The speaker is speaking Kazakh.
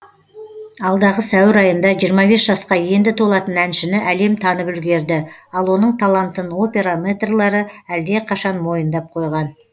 алдағы сәуір айында жиырма бес жасқа енді толатын әншіні әлем танып үлгерді ал оның талантын опера мэтрлері әлдеқашан мойындап қойған